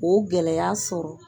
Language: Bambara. O gɛlɛya sɔrɔ